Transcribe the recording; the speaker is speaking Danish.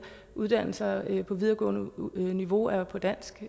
uddannelser på videregående niveau er på dansk